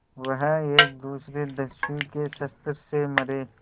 वह एक दूसरे दस्यु के शस्त्र से मरे